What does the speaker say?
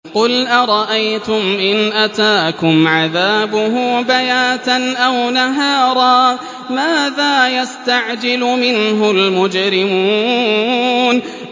قُلْ أَرَأَيْتُمْ إِنْ أَتَاكُمْ عَذَابُهُ بَيَاتًا أَوْ نَهَارًا مَّاذَا يَسْتَعْجِلُ مِنْهُ الْمُجْرِمُونَ